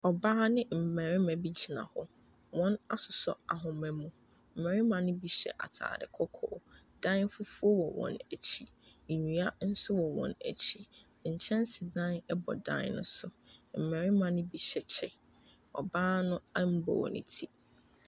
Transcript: Ɔbaa ne mmarima bi gyina hɔ, wɔasosɔ ahoma mu, mmarima ne bi hyɛ ataare kɔkɔɔ, dan fufuo wɔ wɔn akyi, nnua nso wɔ wɔn akyi, nkyɛnsedan bɔ dan ne so. Mmarima ne hyɛ kyɛ, ɔbaa no mmɔɔ ne ti.